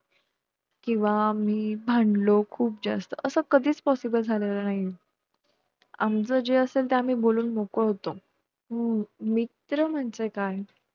केंव्हा आम्ही भांडलो खुप जास्त असं कधीच possible झालेलं नाही या आमचं जे असेल ते आम्ही बोलून मोकळं होतो हम्म मित्र म्हणजे काय